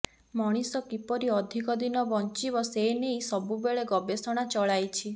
ମଣିଷ କିପରି ଅଧିକ ଦିନ ବଞ୍ଚିବ ସେନେଇ ସବୁବେଳେ ଗବେଷଣା ଚଳାଇଛି